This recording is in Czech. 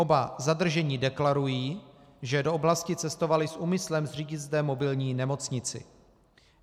Oba zadržení deklarují, že do oblasti cestovali s úmyslem zřídit zde mobilní nemocnici.